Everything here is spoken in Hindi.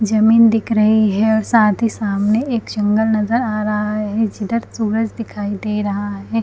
जमीन दिख रही है और साथ ही सामने एक जंगल नज़र आ रहा है जिधर सूरज दिखाई दे रहा है।